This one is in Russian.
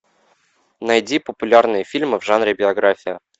найди популярные фильмы в жанре биография